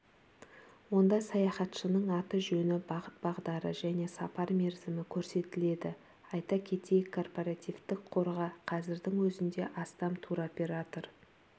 онда саяхатшының аты-жөні бағыт-бағдары және сапар мерзімі көрсетіледі айта кетейік корпоративтік қорға қазірдің өзінде астам туроператор